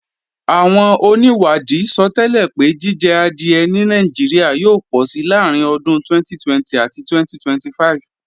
Àwọn onìwádìí sọtẹ́lẹ̀ pé jíjẹ adìẹ ní Nàìjíríà yóò pọ̀si láàrín ọdún 2020 àti 2025